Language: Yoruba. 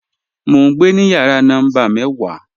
Mọ̀ n gbẹ ni yàrà nọ́mbà mẹ́wà